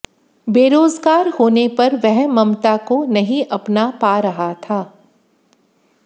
बेरोजगार होने पर वह ममता को नहीं अपना पा रहा था